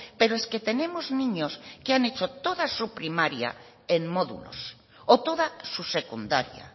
pero es que tenemos niños que han hecho toda su primaria en módulos o toda su secundaría